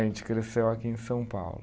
A gente cresceu aqui em São Paulo.